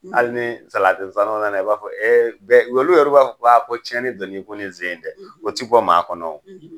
Hali ni salati sanaw nana i b'a fɔ ɛ bɛ olu yɛrɛ b'a fɔ'a ko cɛni donn'i kun nin ze in dɛ o ti bɔ maa kɔnɔ